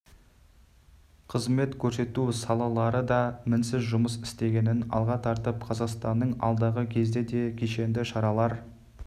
қызмет көрсету салалары да мінсіз жұмыс істегенін алға тартып қазақстанның алдағы кезде де кешенді шаралар